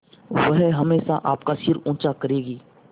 वह हमेशा आपका सिर ऊँचा करेगी